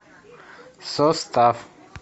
состав